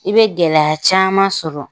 I bɛ gɛlɛya caman sɔrɔ.